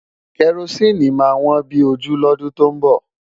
Kẹrosíìnì máa wọ́n bí ojú lọ́dún tó ń bọ̀.